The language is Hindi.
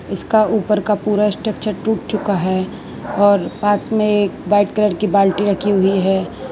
इसका ऊपर का पूरा स्ट्रक्चर टूट चुका है और पास में एक वाइट कलर की बाल्टी रखी हुई है।